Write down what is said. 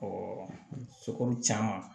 sokuru caman